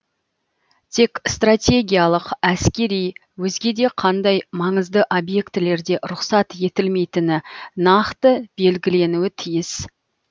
тек стратегиялық әскери өзге де қандай маңызды объектілерде рұқсат етілмейтіні нақты белгіленуі тиіс